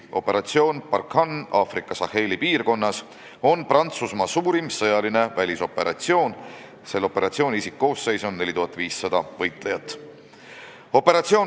Operatsioon Barkhane Aafrikas Saheli piirkonnas on Prantsusmaa suurim sõjaline välisoperatsioon: selle isikkoosseis on 4500 võitlejat.